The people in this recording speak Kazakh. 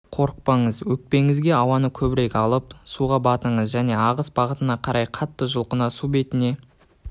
қорықпаңыз өкпеңізге ауаны көбірек алып суға батыңыз және ағыс бағытына қарай қатты жұлқына су бетіне